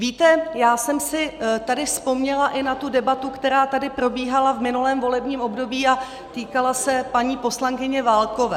Víte, já jsem si tady vzpomněla i na tu debatu, která tady probíhala v minulém volebním období a týkala se paní poslankyně Válkové.